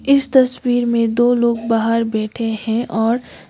इस तस्वीर में दो लोग बाहर बैठे हैं और --